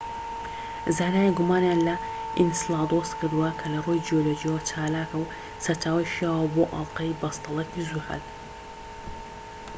زانایان گومانیان لە ئینسلادۆس کردووە کە لە ڕووی جیۆلۆجییەوە چالاکە و سەرچاوەی شیاوە بۆ ئەڵقەی بەستەڵەکی زوحەل